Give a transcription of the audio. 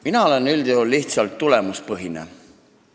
Mina püüan üldjuhul tegutseda tulemuspõhiselt.